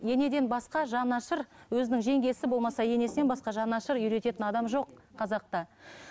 енеден басқа жанашыр өзінің жеңгесі болмаса енесінен басқа жанашыр үйрететін адам жоқ қазақта